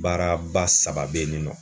Baara ba saba be yenni nɔ.